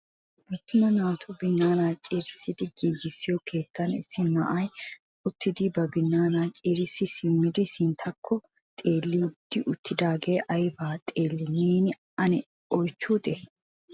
attaum naatu binaana ciirissidi giigissiyo keettan issi na'ay uttidi ba binaanaa ciirisi simmidi sinttakko xeellidi uttidaagee aybba xeelli neeni ane a oychchutee?